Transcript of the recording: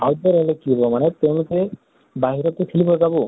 outdoor হলে কি হʼব মানে তেওঁলোকে বাহিৰতে খেলিব যাব